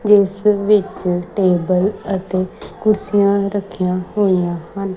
ਜਿਸ ਵਿੱਚ ਟੇਬਲ ਅਤੇ ਕੁਰਸੀਆਂ ਰੱਖੀਆਂ ਹੋਈਆਂ ਹਨ।